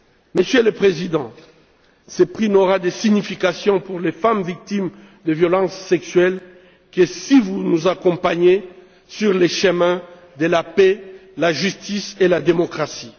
Monsieur le Président, ce prix n'aura de signification pour les femmes victimes de violences sexuelles que si vous nous accompagnez sur le chemin de la paix, de la justice et de la démocratie.